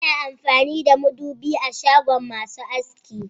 Ana amfani da madubi a shagon masu aski